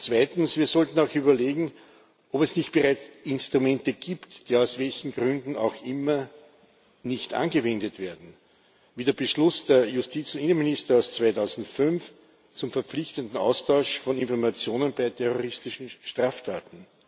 Zweitens Wir sollten auch überlegen, ob es nicht bereits Instrumente gibt, die aus welchen Gründen auch immer nicht angewendet werden, wie der Beschluss des Justizinnenministers 2005 zum verpflichtenden Austausch von Informationen bei terroristischen Straftaten.